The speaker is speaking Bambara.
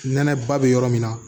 Nɛnɛ ba bɛ yɔrɔ min na